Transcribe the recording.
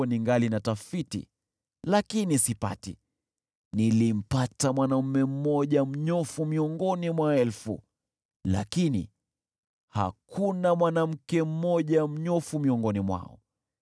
ningali natafiti lakini sipati: nilimpata mwanaume mmoja mnyofu miongoni mwa elfu, lakini hakuna mwanamke mmoja mnyofu miongoni mwao.